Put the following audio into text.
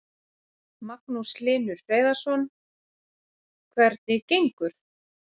Magnús Hlynur Hreiðarsson: Hvernig gengur?